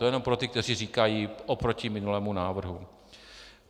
To jenom pro ty, kteří říkají oproti minulému návrhu.